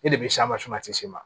E de bɛ se ma